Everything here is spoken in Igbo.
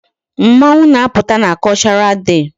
Mmọnwụ na-apụta na Cultural Day.